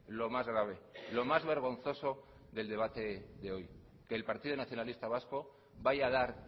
lo más grave lo más vergonzoso del debate de hoy que el partido nacionalista vasco vaya a dar